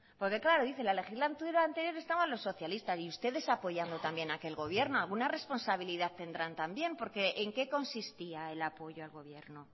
porque claro dice en la legislatura anterior estaban los socialistas y ustedes apoyando también aquel gobierno alguna responsabilidad tendrán también porque en qué consistía el apoyo al gobierno